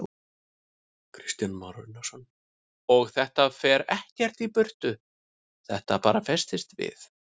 Kristján Már Unnarsson: Og þetta fer ekkert í burtu, þetta bara festist við?